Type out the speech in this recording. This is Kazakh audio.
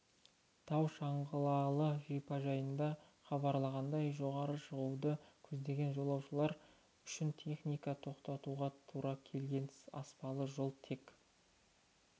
тау шаңғылы шипажайдан хабарланғандай жоғары шығуды көздеген жолаушылар үшін техниканы тоқтатуға тура келген аспалы жол тек